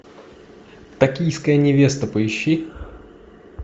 токийская невеста поищи